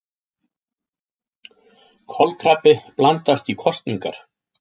Kolkrabbi blandast í kosningar